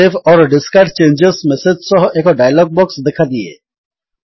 save or discard change message ସହ ଏକ dialog box ଦେଖାଦିଏ